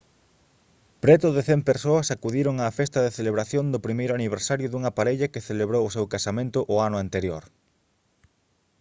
preto de 100 persoas acudiron á festa de celebración do primeiro aniversario dunha parella que celebrou o seu casamento o ano anterior